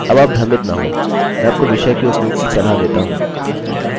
अब आप भ्रमित न होंमैं आपको विषय के उपयोग की सलाह देता हूँ